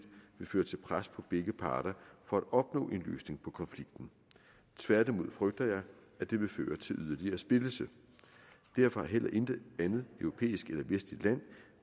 vil føre til pres på begge parter for at opnå en løsning på konflikten tværtimod frygter jeg at det vil føre til yderligere splittelse derfor har heller intet andet europæisk eller vestligt land